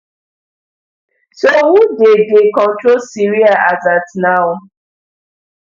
so who dey dey control syria as at now